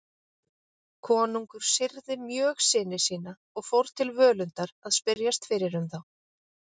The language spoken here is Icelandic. Konungur syrgði mjög syni sína og fór til Völundar að spyrjast fyrir um þá.